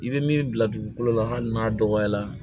I bɛ min bila dugukolo la hali n'a dɔgɔyara